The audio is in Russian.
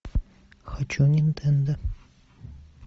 хочу нинтендо